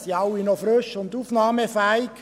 Da sind alle noch frisch und aufnahmefähig.